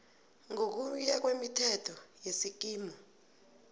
ngokuya ngemithetho yesikimu